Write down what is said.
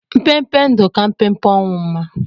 Mpempe ndụ ka mpempe ọnwụ mma